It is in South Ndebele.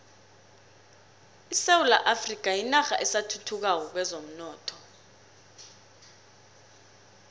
isewula afrika yinarha esathuthukako kwezomnotho